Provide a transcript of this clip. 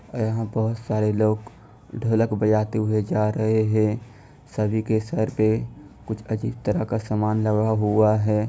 यहां बहुत सारे लोग ढोलक बजाते हुए जा रहे हैं| सभी के सर पे कुछ अजीब तरह का सामान लगा हुआ है।